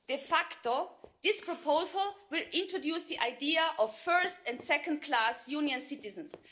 De facto, this proposal will introduce the idea of first class and second class Union citizens.